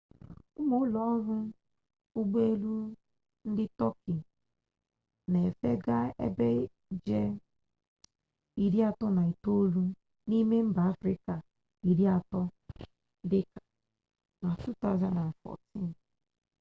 ụmụ ụlọọrụ ụgbọelu ndị tọọki na-efe gaa ebe ije iri atọ na itoolu n'ime mba afrịka iri atọ dị ka na 2014